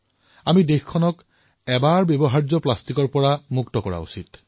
আমি দেশক এবাৰ ব্যৱহৃত প্লাষ্টিকৰ পৰা মুক্ত কৰিবই লাগিব